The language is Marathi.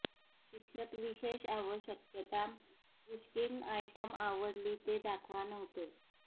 शिक्षक विशेष आवश्यकता पुश्किन आयटम आवडली ते दाखवा नव्हते